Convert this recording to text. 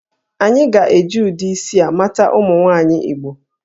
A ga-eji ụdị isi a mata ụmụ nwaanyị Igbo